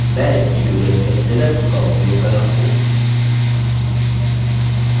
मैं इस tutorial में लिनक्स का उपयोग कर रहा हूँ